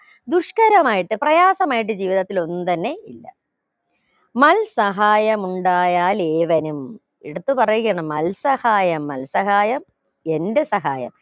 ദുഷ്ക്കരമായിട്ട് പ്രയാസമായിട്ട് ജീവിതത്തിൽ ഒന്നും തന്നെ ഇല്ല മൽ സഹായമുണ്ടായാൽ ഏവനും എടുത്തു പറയുകയാണ് മൽസഹായം മൽസഹായം എന്റെ സഹായം